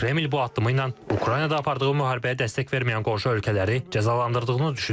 Kreml bu addımı ilə Ukraynada apardığı müharibəyə dəstək verməyən qonşu ölkələri cəzalandırdığını düşünür.